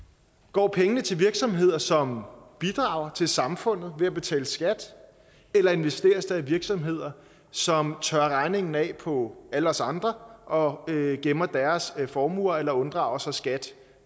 går pengene til virksomheder som bidrager til samfundet ved at betale skat eller investeres de i større virksomheder som tørrer regningen af på alle os andre og gemmer deres formuer eller unddrager sig skat